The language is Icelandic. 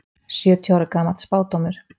Sjötíu ára gamall spádómur